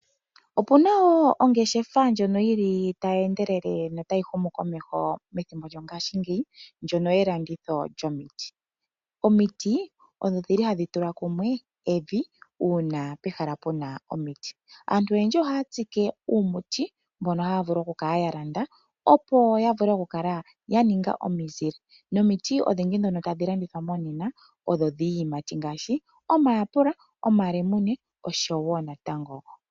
Opuna ongeshefa ndjoka taye ndele methimbo lyo ngaashi ngeyi ndjono yokulanditha omiti. Omiti odho dhili hadhi tula kumwe evi uuna pehala puna omiti, aantu noyendji ohaatsike uumuti mbono haavulu okukala ya landa opo yavule okukala yaninga omizile nomiti odhindji ndhono tadhi longithwa nena odho dhiiyimati ngashi omayapela, omalemune, nosho woo omikwawo.